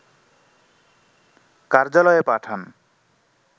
কার্যালয়ে পাঠান